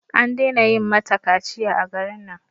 An dena yin mata kaciya a garin nan